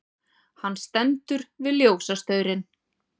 Hann stendur við ljósastaurinn.